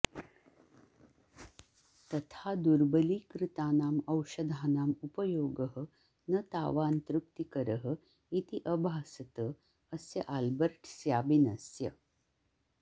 तथा दुर्बलीकृतानाम् औषधानाम् उपयोगः न तावान् तृप्तिकरः इति अभासत अस्य आल्बर्ट् स्याबिनस्य